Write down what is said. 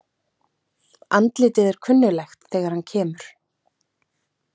Andlitið er kunnuglegt þegar hann kemur.